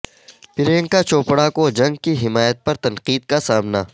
پریانکا چوپڑا کو جنگ کی حمایت پر تنقید کا سامنا